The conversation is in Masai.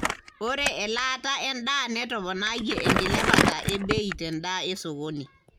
ore elaata endaa netoponayie enkilepata ebei tendaa esokoni.